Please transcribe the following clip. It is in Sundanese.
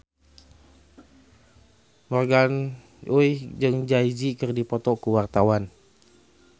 Morgan Oey jeung Jay Z keur dipoto ku wartawan